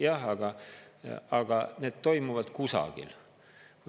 Jah, aga need toimuvad kusagil.